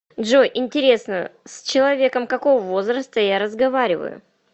джой интересно с человеком какого возраста я разговариваю